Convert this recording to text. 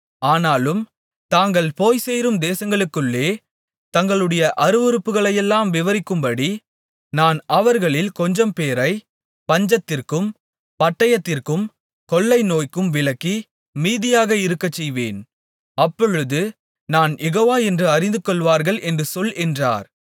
ஆனாலும் தாங்கள் போய்ச்சேரும் தேசங்களுக்குள்ளே தங்களுடைய அருவருப்புகளையெல்லாம் விவரிக்கும்படி நான் அவர்களில் கொஞ்சம்பேரைப் பஞ்சத்திற்கும் பட்டயத்திற்கும் கொள்ளைநோய்க்கும் விலக்கி மீதியாக இருக்கச்செய்வேன் அப்பொழுது நான் யெகோவா என்று அறிந்துகொள்வார்கள் என்று சொல் என்றார்